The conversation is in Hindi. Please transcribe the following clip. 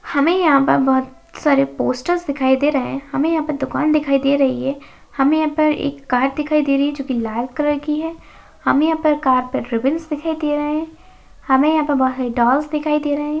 हमे यहाँ पर बहुत सारे पोस्टर्स दिखाई दे रहे है हमे यहाँ पर दुकान दिखाई दे रही है हमे यहाँ पर एक कार दिखाई दे रही है जो कि लाल कलर की है हमे यहाँ पर कार पर रिबीन्स दिखाई दे रहे है हमे यहाँ पर डॉल्स दिखाई दे रहे है।